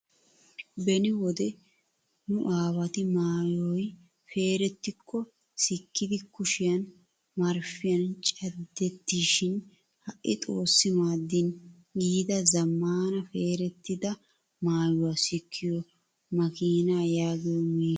Beni wode nu aawati maayyoyi peerettikko sikkiiddi kushiyaan marppiyan cadettishin ha'i xoossi maadin yiida zammaana peerettida maayyuwaa sikkiyoo makiinaa yaagiyoo maashiiniyaa.